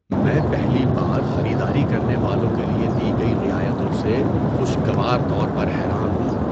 میں پہلی بار خریداری کرنے والوں کے لیے دی گئی رعایتوں سے خوشگوار طور پر حیران ہوں۔